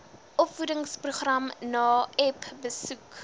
opvoedingsprogram naep besoek